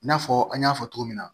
I n'a fɔ an y'a fɔ cogo min na